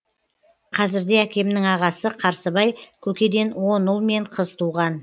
қазірде әкемнің ағасы қарсыбай көкеден он ұл мен қыз туған